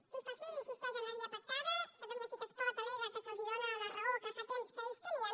junts pel sí insisteix en la via pactada catalunya sí que es pot al·lega que se’ls dóna la raó que fa temps que ells tenien